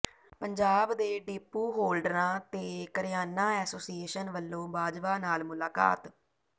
ਪੰਜਾਬ ਦੇ ਡੀਪੂ ਹੋਲਡਰਾਂ ਤੇ ਕਰਿਆਨਾ ਐਸੋਸੀਏਸ਼ਨ ਵਲੋਂ ਬਾਜਵਾ ਨਾਲ ਮੁਲਾਕਾਤ